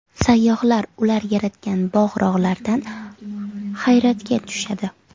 Sayyohlar ular yaratgan bog‘-rog‘lardan hayratga tushadi.